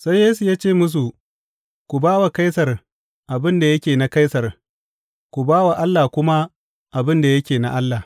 Sai Yesu ya ce musu, Ku ba wa Kaisar abin da yake na Kaisar, ku ba wa Allah kuma abin da yake na Allah.